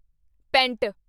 pant